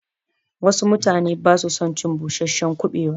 Wassu mutane basu son cin busasshen kuɓewa